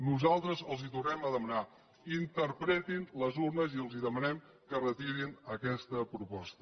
nosaltres els tornem a demanar interpretin les urnes i els demanem que retirin aquesta proposta